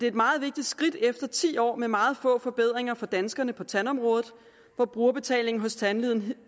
et meget vigtigt skridt efter ti år med meget få forbedringer for danskerne på tandområdet for brugerbetalingen hos tandlægen